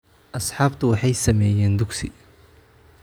Asxaabtu waxay sameeyeen dugsi